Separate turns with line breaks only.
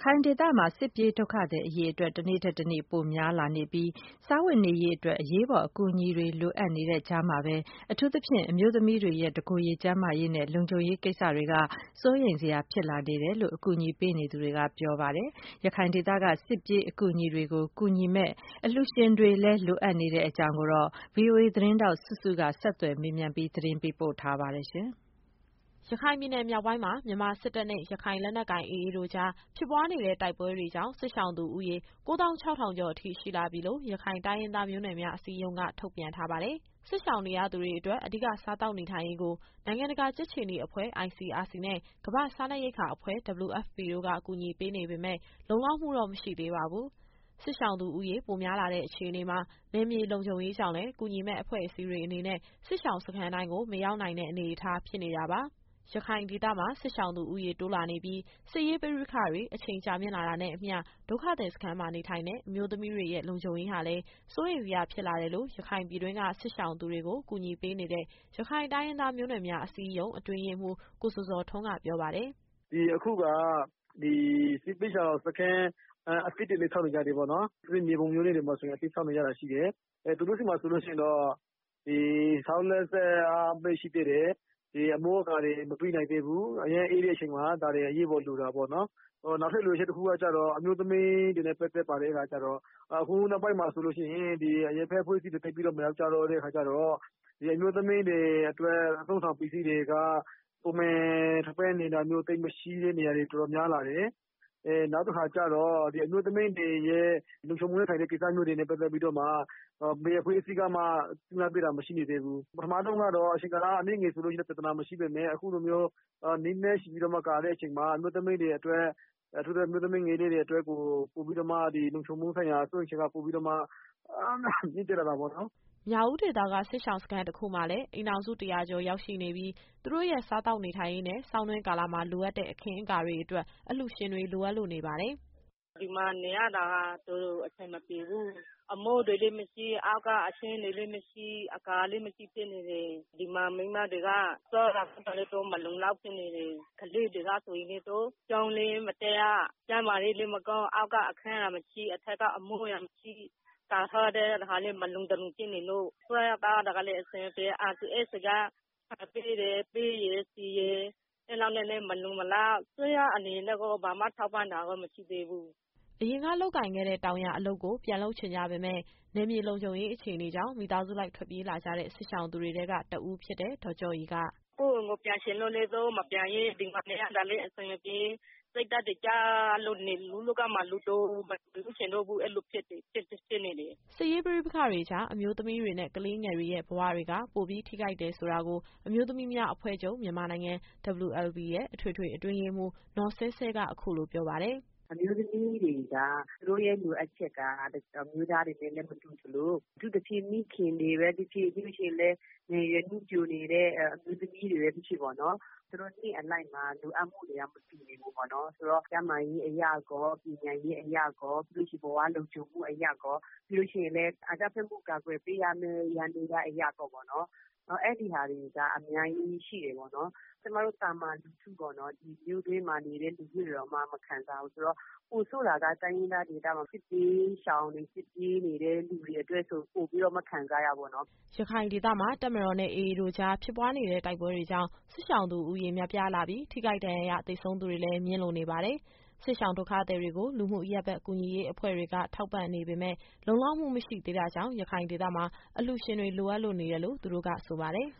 ခိုင်ဒေသမှာ စစ်ပြေးဒုက္ခသည်အရေအတွက် တနေ့ထက်တနေ့ ပိုများလာနေပြီး စားဝတ်နေရေးအတွက် အရေးပေါ်အကူအညီတွေ လိုအပ်နေတဲ့ကြားမှာပဲ အထူးသဖြင့် အမျိုးသမီးတွေရဲ့ တကိုယ်ရေကျန်းမာရေးနဲ့ လုံခြုံရေးကိစ္စတွေက စိုးရိမ်စရာဖြစ်လာနေတယ်လို့ အကူအညီပေးနေသူတွေက ပြောပါတယ်။ ရခိုင်ဒေသက စစ်ပြေးဒုက္ခသည်တွေကို ကူညီမယ့် အလှူရှင်တွေလည်း လိုအပ်နေတဲ့အကြောင်း ဗွီအိုအေသတင်းထောက် စုစုက ဆက်သွယ်မေးမြန်းပြီး သတင်းပေးပို့ထားပါတယ်။
ရခိုင်ပြည်နယ်မြောက်ပိုင်းမှာ မြန်မာစစ်တပ်နဲ့ ရခိုင်လက်နက်ကိုင် AA တို့ကြား ဖြစ်ပွားနေတဲ့ တိုက်ပွဲတွေကြောင့် စစ်ရှောင်သူဦးရေ ၉၆,၀၀၀ ကျော်အထိ ရှိလာပြီလို့ ရခိုင်တိုင်းရင်းသား မျိုးနွယ်များအစည်းအရုံးက ထုတ်ပြန်ထားပါတယ်။ စစ်ရှောင်နေရသူတွေအတွက် အဓိကစားသောက်နေထိုင်ရေးအတွက် နိုင်ငံတကာ ကြက်ခြေနီအဖွဲ့ ICRC နဲ့ ကမ္ဘာ့စားနပ်ရိက္ခာအစီအစဉ် WFP တို့က ကူညီပေးနေပေမယ့် လုံလောက်မှုတော့ မရှိသေးပါဘူး။ စစ်ရှောင်သူဦးရေ ပိုများလာတဲ့အခြေအနေမှာ နယ်မြေလုံခြုံရေးကြောင့်လည်း ကူညီမယ့်အဖွဲ့အစည်းတွေ အနေနဲ့ စစ်ရှောင်စခန်းတိုင်းကို မရောက်နိုင်တဲ့ အနေအထား ဖြစ်နေတာပါ။ ရခိုင်ဒေသမှာ စစ်ရှောင်သူဦးရေတိုးလာနေပြီး၊ စစ်ရေးပဋိပက္ခ အချိန်ကြာမြင့်လာတာနဲ့ အမျှ ဒုက္ခသည်စခန်းမှာနေထိုင်တဲ့ အမျိုးသမီးတွေရဲ့ လုံခြုံရေးဟာလည်း စိုးရိမ်စရာဖြစ်လာတယ်လို့ ရခိုင်ပြည်တွင်းက စစ်ရှောင်သူတွေကို ကူညီပေးနေတဲ့ ရခိုင်တိုင်းရင်းသား မျိုးနွယ်များအစည်းအရုံး အတွင်းရေးမှူး ကိုဇော်ဇော်ထွန်းက ပြောပါတယ်
။ “အခုက ဒီစစ်ဘေးရှောင်စခန်း အသစ်တွေလည်း ဆောက်နေကြတယ်ပေါ့နော်။ အထူးသဖြင့် မြေပုံမြို့နယ်ထဲမှာဆိုရင် အသစ်ဆောက်နေတာရှိတယ်။ သူတို့ဆီမှာဆိုလို့ရှိရင်တော့ ဆောက်လက်စပဲရှိသေးတယ်။ အမိုးအကာတွေ မပြီးနိုင်သေးဘူး။ အရမ်းအေးတဲ့အချိန်မှာ ဒါတွေကအရေးပေါ် လိုတာပေါ့နော်။ နောက်ထပ်လိုအပ်ချက် တခုကကျတော့ အမျိုးသမီးတွေနဲ့ ပတ်သက်ပါတယ်။ အခုနောက်ပိုင်းမှာဆိုရင် အရပ်ဘက်အဖွဲ့အစည်းတွေ သိပ်ပြီးတော့မရောက်ကြတော့ အမျိုးသမီးတွေအတွက် အသုံးအဆောင်ပစ္စည်းတွေက ပုံမှန်ထောက်ပံ့နေတာမျိုး သိပ်မရှိတဲ့နေရာတွေ တော်တော်များလာတယ်။ အမျိုးသမီးတွေရဲ့ လုံခြုံမှုနဲ့ဆိုင်တဲ့ ကိစ္စတွေနဲ့ပတ်သက်ပြီးတော့မှ ဘယ်အဖွဲ့အစည်းကမှ ကြပ်မတ်ပေးတာ ရှိမနေသေးဘူး။ ပထမတုန်းကတော့ အချိန်ကာလ အနည်းငယ်ဆိုရင် ပြဿနာမရှိပေမယ့် အခုလိုမျိုး ကာလရှည်ကြာတဲ့အခါမှာ အထူးသဖြင့် အမျိုးသမီးငယ်လေးတွေအတွက် လုံခြုံမှုဆိုင်ရာစိုးရိမ်ချက်က ပိုပြီးတော့မှ မြင့်တက်လာတာပေါ့နော်။
” မြောက်ဦးဒေသက စစ်ရှောင်စခန်းတခုမှာလည်း အိမ်ထောင်စု ၁၀၀ ကျော်ရောက်ရှိနေပြီး၊ သူတို့ရဲ့စားသောက်နေထိုင်ရေးနဲ့ ဆောင်းတွင်းကာလမှာ လိုအပ်တဲ့အခင်းအကာတွေအတွက် အလှူရှင်တွေ လိုအပ်လို့နေပါတယ်။
“ဒီမှာနေရတာ တော်တော်အဆင်မပြေဘူး။ အမိုးတွေလည်းမရှိ၊ အောက်ကအခင်းတွေလည်းမရှိ၊ အကာလည်းမရှိဖြစ်နေတယ်။ ဒီမှာ မိန်းမတွေက စားတာသောက်တာလည်း သူတို့ မလုံလောက်ဖြစ်နေတယ်။ ကလေးတွေဆိုရင်လည်း ကျောင်းလည်းမတက်ရ။ ကျန်းမာရေးကလည်း မကောင်း။ အောက်ကအခန်းကမရှိ၊ အထက်က အမိုးအရံမရှိ၊ ကာထားတာလည်း တခါတလေ မလုံတလုံဖြစ်နေလို့။ စားရသောက်ရတာလည်း အဆင်မပြေ။ ICRC က ဆန်ပေးတယ်၊ ပဲရယ်၊ ဆီရယ်။ အဲလောက်နဲ့လည်း မလုံမလောက်။ အစိုးရအနေနဲ့တော့ ဘာမှထောက်ပံ့တာတော့ မရှိသေးဘူး
။” အရင်က လုပ်ကိုင်ခဲ့တဲ့ တောင်ယာအလုပ်ကို ပြန်လုပ်ချင်ကြပေမယ့် နယ်မြေလုံခြုံရေး အခြေအနေကြောင့် မိသားစုလိုက်ထွက်ပြေးလာကြတဲ့ စစ်ရှောင်သူတွေထဲက တဦးဖြစ်တဲ့ ဒေါ်ကျော့ရည်က
“ကိုယ့်အိမ်ကိုပြန်ချင်လို့လည်း သူတို့မပြန်ရဲ။ ဒီမှာနေရတာလည်း အဆင်မပြေ။ စိတ်ဓာတ်တွေကျလို့ လူ့လောကမှာ လူတောင်မဖြစ်ချင်တော့ဘူး။ အဲလိုဖြစ်နေတယ်။
” စစ်ရေးပဋိပက္ခတွေကြား အမျိုးသမီးတွေနဲ့ ကလေးငယ်တွေရဲ့ ဘဝတွေက ပိုပြီး ထိခိုက်တယ်ဆိုတာကို အမျိုးသမီးများအဖွဲ့ချုပ် WLB ရဲ့ အထွေထွေအတွင်းရေးမှူး နော်ဆဲဆဲက အခုလိုပြောပါတယ်။ “အ
မျိုးသမီးတွေက သူတို့ရဲ့လိုအပ်ချက်က အမျိုးသားတွေနဲ့လည်း မတူသလို၊ အထူးသဖြင့် မိခင်တွေပဲဖြစ်ဖြစ်၊ ပြီးလို့ရှိရင်လည်း ငယ်ရွယ်နုပျိုနေတဲ့ အမျိုးသမီးတွေပဲ ဖြစ်ဖြစ်ပေါ့နော်။ သူတို့နှစ်အလိုက်မှာ လိုအပ်မှုတွေက မတူဘူးပေါ့နော်။ ဆိုတော့ ကျန်းမာရေးအရရော၊ ပညာရေးအရရော၊ ဘဝလုံခြုံမှုအရရော၊ ပြီးလို့ရှိရင်လည်း အကြမ်းဖက်မှုကို ကာကွယ်ပေးရမယ့် ယန္တရားအရရောပေါ့နော်။ အဲဒီဟာတွေက အများကြီးရှိတယ်ပေါ့နော်။ ကျမတို့သာမန်လူထုပေါ့နော်။ ဒီမြို့တွင်းမှာနေတဲ့ လူထုတွေတောင်မှ မခံသာဘူးဆိုတော့ ပိုဆိုးတာက တိုင်းရင်းသားဒေသမှာ စစ်ဘေးရှောင်တွေ၊ စစ်ပြေးနေတဲ့သူတွေအတွက်ဆို ပိုပြီးတော့မှ ခံစားရတာပေါ့နော်
။” ရခိုင်ဒေသမှာ တပ်မတော်နဲ့ AA တို့ကြား ဖြစ်ပွားနေတဲ့ တိုက်ပွဲတွေကြောင့် စစ်ရှောင်သူဦးရေ များပြားလာပြီး၊ ထိခိုက်ဒဏ်ရာရ သေဆုံးသူတွေလည်း မြင့်လို့နေပါတယ်။ စစ်ရှောင်ဒုက္ခသည်တွေကို လူမှုအရပ်ဘက် ကူညီရေးအဖွဲ့တွေက ထောက်ပံ့နေပေမယ့် လုံလောက်မှုမရှိသေးတာကြောင့် ရခိုင်ဒေသမှာ အလှူရှင်တွေ လိုအပ်လို့နေတယ်လို့ သူတို့ကဆိုပါတယ်